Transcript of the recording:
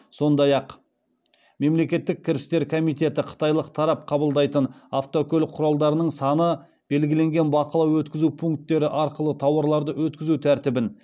сондай ақ мемлекеттік кірістер комитеті қытайлық тарап қабылдайтын автокөлік құралдарының саны белгіленген бақылау өткізу пункттері арқылы тауарларды өткізу тәртібін